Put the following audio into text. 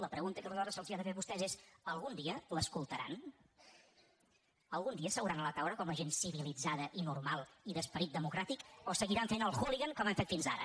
la pregunta que aleshores se’ls ha de fer a vostès és algun dia l’escoltaran algun dia seuran a la taula com la gent civilitzada i normal i d’esperit democràtic o seguiran fent el hooligan com han fet fins ara